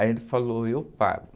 Aí ele falou, eu pago.